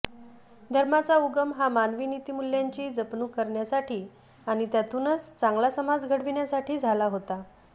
धर्माचा उगम हा मानवी नीतीमूल्यांची जपणूक करण्यासाठी आणि त्यातूनच चांगला समाज घडविण्यासाठी झाला होता